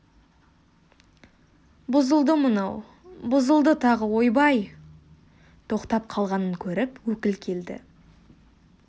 бұзылды мынау бұзылды тағы ойбай тоқтап қалғанын көріп өкіл келді